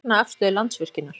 Fagna afstöðu Landsvirkjunar